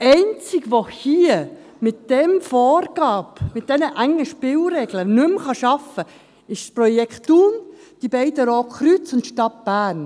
Die einzigen, die mit den Vorgaben, mit diesen engen Spielregeln nicht mehr arbeiten können, sind das Projekt Thun, die beiden Roten Kreuze und die Stadt Bern.